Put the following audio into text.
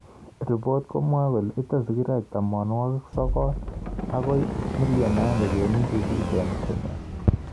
Ripot komwoe kole ite sigiroik 900,000 akoo 1.8 million eng Kenya